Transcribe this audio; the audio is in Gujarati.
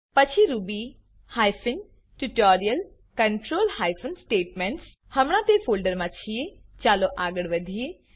પછી Ruby hyphen tutorial control hyphen statements હમણા તે ફોલ્ડર મા છીએ ચાલો આગળ વધીએ